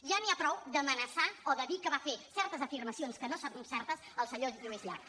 ja n’hi ha prou d’amenaçar o de dir que va fer certes afirmacions que no són certes el senyor lluís llach